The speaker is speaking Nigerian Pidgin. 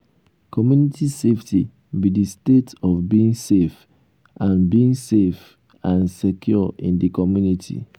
community safety be di state of being safe and being safe and secure in di community?